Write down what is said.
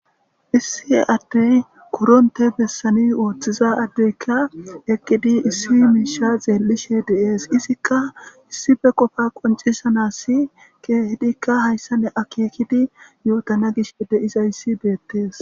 issi addey kuronte bessani ooththiza addeykka eqqidi issi miisha xeellishe deees izikka issife qofa qoncisanassi keehidikka hayssa ne akeekidi yootana gish de7iza yssi beettees